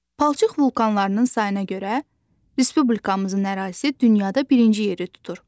Palçıq vulkanlarının sayına görə Respublikamızın ərazisi dünyada birinci yeri tutur.